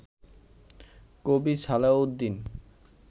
কবি সালেহ উদ্দীন